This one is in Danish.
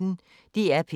DR P1